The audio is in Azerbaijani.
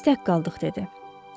İndi biz tək qaldıq dedi.